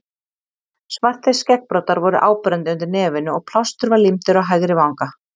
Svartir skeggbroddar voru áberandi undir nefinu og plástur var límdur á hægri vanga.